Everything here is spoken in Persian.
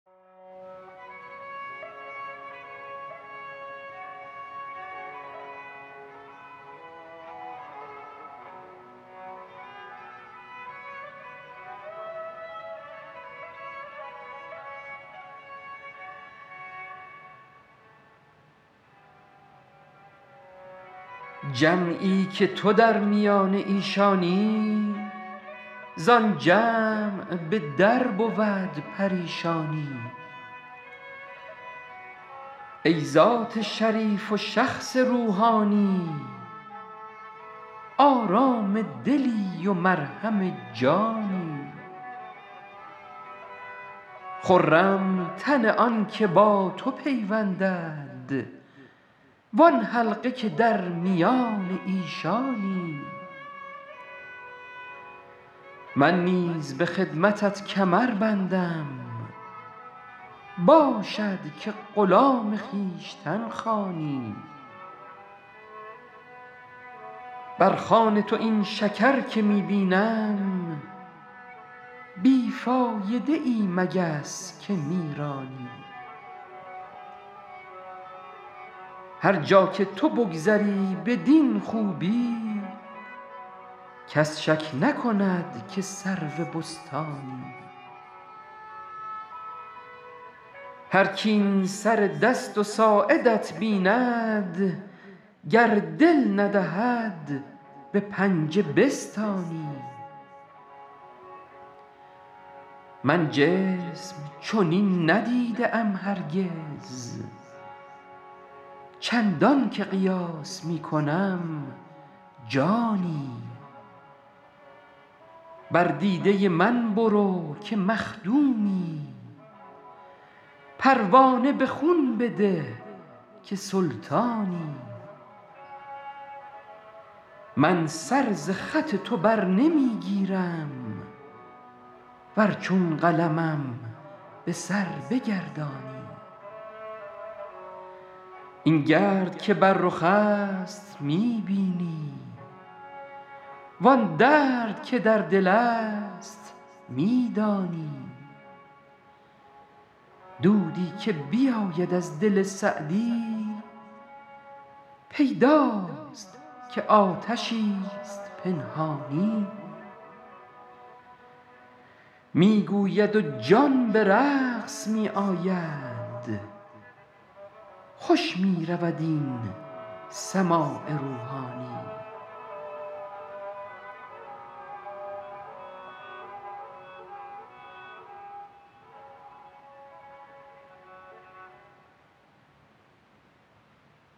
جمعی که تو در میان ایشانی زآن جمع به در بود پریشانی ای ذات شریف و شخص روحانی آرام دلی و مرهم جانی خرم تن آن که با تو پیوندد وآن حلقه که در میان ایشانی من نیز به خدمتت کمر بندم باشد که غلام خویشتن خوانی بر خوان تو این شکر که می بینم بی فایده ای مگس که می رانی هر جا که تو بگذری بدین خوبی کس شک نکند که سرو بستانی هرک این سر دست و ساعدت بیند گر دل ندهد به پنجه بستانی من جسم چنین ندیده ام هرگز چندان که قیاس می کنم جانی بر دیده من برو که مخدومی پروانه به خون بده که سلطانی من سر ز خط تو بر نمی گیرم ور چون قلمم به سر بگردانی این گرد که بر رخ است می بینی وآن درد که در دل است می دانی دودی که بیاید از دل سعدی پیداست که آتشی ست پنهانی می گوید و جان به رقص می آید خوش می رود این سماع روحانی